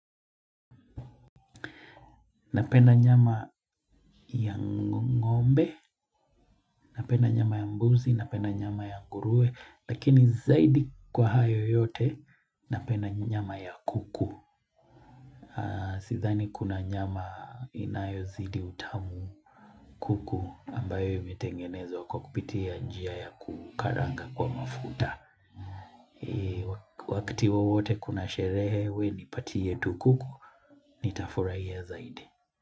Napenda nyama ya ngombe, napenda nyama ya mbuzi, napenda nyama ya ngurue, lakini zaidi kwa hayo yote, napenda nyama ya kuku. Sithani kuna nyama inayo zidi utamu kuku ambayo imetengenezwa kwa kupitia njia ya kukaranga kwa mafuta. Wakati wawote kuna sherehe wewe nipatie tu kuku, ni tafurahia zaidi.